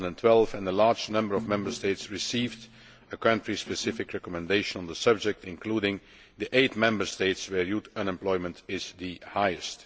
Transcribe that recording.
2012. A large number of Member States received a country specific recommendation on this subject, including the eight Member States where youth unemployment is the highest.